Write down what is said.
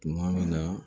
Tuma min na